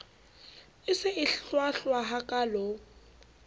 e se e hlwahlwa hakaalo